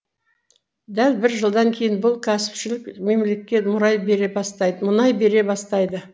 дәл бір жылдан кейін бұл кәсіпшілік мемлекет мұрай мұнай бере бастайды